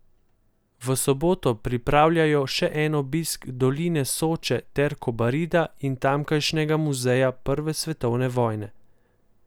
V soboto pripravljajo še obisk doline Soče ter Kobarida in tamkajšnjega muzeja prve svetovne vojne.